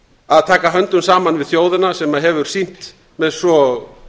að taka höndum saman við þjóðina sem hefur sýnt með svo